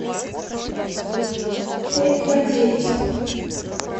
пять два девять